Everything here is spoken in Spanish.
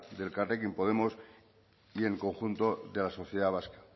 de elkarrekin podemos y el conjunto de la sociedad vasca